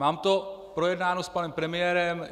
Mám to projednáno s panem premiérem.